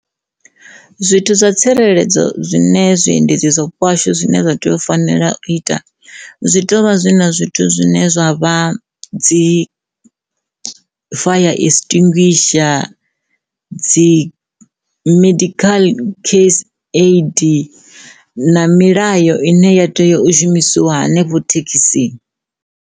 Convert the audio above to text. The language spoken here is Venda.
Zwithu zwa tsireledzo zwine zwiendedzi zwa vhupo ha hashu zwine zwa tea u fanela u ita zwi tea u vha zwi na zwithu zwine zwa vha dzi fire extinguisher, dzi medical case aid na milayo ine ya tea u shumisiwa hanefho thekhisini.